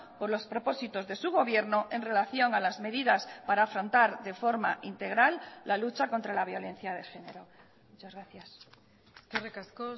por los propósitos de su gobierno en relación a las medidas para afrontar de forma integral la lucha contra la violencia de género muchas gracias eskerrik asko